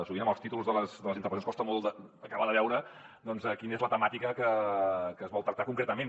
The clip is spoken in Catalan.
sovint amb els títols de les intervencions costa molt acabar de veure quina és la temàtica que es vol tractar concretament